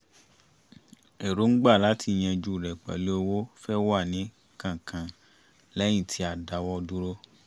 èròǹgbà láti yanjú rẹ̀ pẹ̀lú owó fẹ́ẹ̀ wá ní kánkán lẹ́yìn tí a dáwọ́ dúró